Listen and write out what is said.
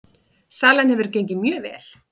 Salan hefur gengið mjög vel